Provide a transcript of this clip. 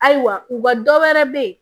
Ayiwa u ka dɔ wɛrɛ be yen